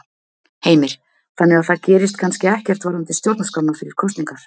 Heimir: Þannig að það gerist kannski ekkert varðandi stjórnarskrána fyrir kosningar?